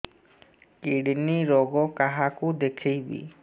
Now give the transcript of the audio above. kidney ରୋଗ କାହାକୁ ଦେଖେଇବି